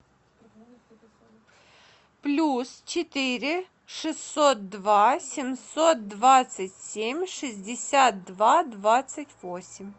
плюс четыре шестьсот два семьсот двадцать семь шестьдесят два двадцать восемь